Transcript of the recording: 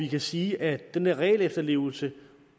kan sige at den der regelefterlevelse